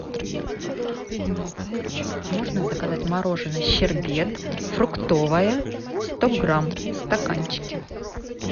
можно заказать мороженое щербет фруктовое сто грамм в стаканчике